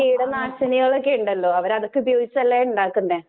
കീടനാശിനികളോക്കെണ്ടല്ലോ അവരതൊക്കെ ഉപയോഗിച്ചല്ലേ ഉണ്ടാക്കുന്നെ